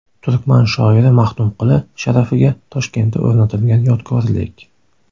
Turkman shoiri Maxtumquli sharafiga Toshkentda o‘rnatilgan yodgorlik.